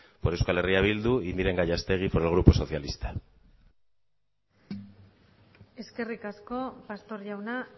por euskal herria bildu y miren gallastegui por el grupo socialista eskerrik asko pastor jauna